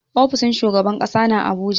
Ofishin shugaban ƙasa na a Abuja.